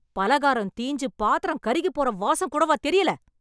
பலகாரம் தீஞ்சு, பாத்திரம் கருகிப் போற வாசம் கூடவா தெரியல?